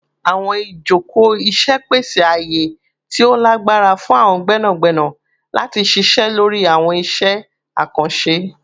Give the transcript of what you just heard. Awọn ijoko iṣẹ pese aaye ti o lagbara fun awọn gbẹnagbẹna lati ṣiṣẹ lori awọn iṣẹ akanṣe